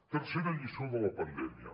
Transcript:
tercera lliçó de la pandèmia